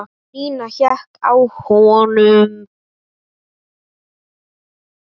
Nína hékk á honum.